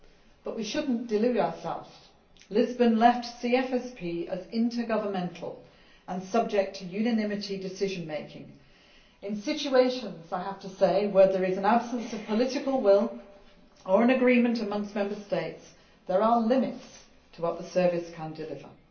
But we should not delude ourselves Lisbon left CFSP as intergovernmental and subject to unanimity decision making. In situations, I have to say, where there is an absence of political will or an agreement amongst Member States, there are limits to what the Service can deliver.